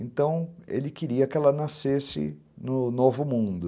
Então, ele queria que ela nascesse no novo mundo.